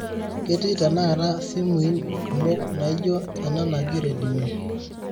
ketii tenakata simuin kumo naijo ena naji redmi